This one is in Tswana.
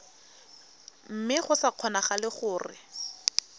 mme go sa kgonagale gore